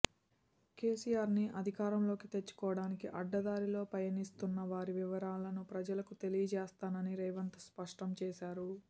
కేసీఆర్ను అధికారంలోకి తెచ్చుకోవడానికి అడ్డదారిలో పయనిస్తున్న వారి వివరాలను ప్రజలకు తెలియజేస్తానని రేవంత్ స్పష్టం చేశారు